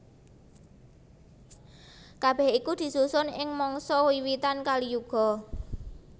Kabèh iku disusun ing mangsa wiwitan Kaliyuga